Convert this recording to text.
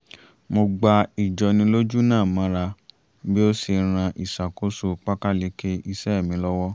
mo gba ìjọnilójú náà mọ́ra bí ó ṣe ràn ìṣàkóso pákáleke iṣẹ́ mí lọ́wọ́